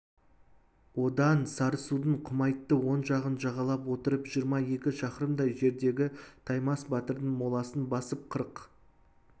одан сарысудың құмайтты оң жағын жағалап отырып жиырма екі шақырымдай жердегі таймас батырдың моласын басып қырық